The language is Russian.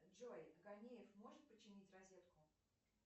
джой конеев может починить розетку